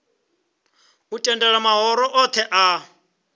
u tendela mahoro othe a